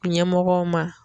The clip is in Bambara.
Ɲɛmɔgɔw ma